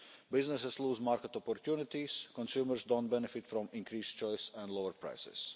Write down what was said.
Businesses lose market opportunities and consumers don't benefit from increased choice and lower prices.